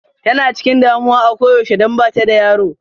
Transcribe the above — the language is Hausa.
Tana chikin damuwa a koyaushe don bata da yaro.